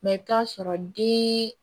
Mɛ i bɛ t'a sɔrɔ den